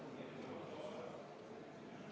Martin Helme, palun!